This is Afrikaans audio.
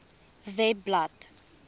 webblad